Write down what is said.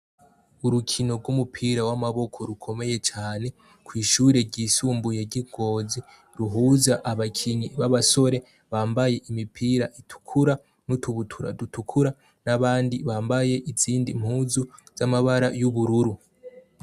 Urukino gumupira wamaboko rukomeye cane kwishure ryisumbuye ryi ngozi ruhuza abakinyi babasore bambaye imipira itukura nutubutura dutukura nabandi bambaye izindi mpuzu zamabara yubururu